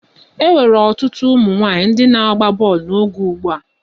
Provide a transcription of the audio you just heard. E nwere otu ụmụ nwaanyị ndị na-agba bọọlụ n'oge ugbu a.